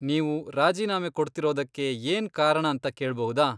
ನೀವು ರಾಜೀನಾಮೆ ಕೊಡ್ತಿರೋದಕ್ಕೆ ಏನ್ ಕಾರಣ ಅಂತ ಕೇಳ್ಬಹುದಾ?